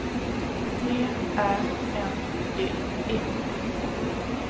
T Ä N D E